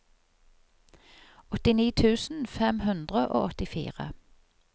åttini tusen fem hundre og åttifire